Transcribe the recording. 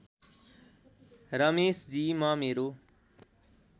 रमेशजी म मेरो